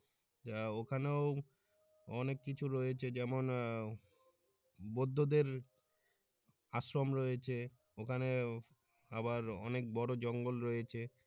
যা ওখানেও! অনেক কিছু রয়েছে যেমন আহ বৌদ্ধদের আশ্রম রয়েছে ওখানে আবার অনেক বড় জংল রয়েছে।